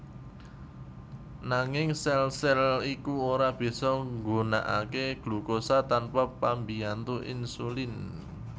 Nanging sèl sèl iku ora bisa nggunakaké glukosa tanpa pambiyantu insulin